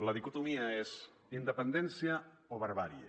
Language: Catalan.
la dicotomia és independència o barbàrie